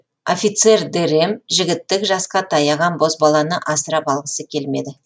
офицер дэрэм жігіттік жасқа таяған бозбаланы асырап алғысы келмеді